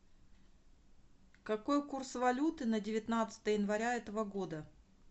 какой курс валюты на девятнадцатое января этого года